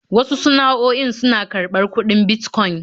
Wasu sana'o'in suna karɓar kudin Bitcoin